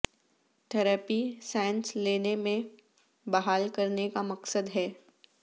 therapy سانس لینے میں بحال کرنے کا مقصد ہے